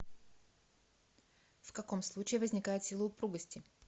в каком случае возникает сила упругости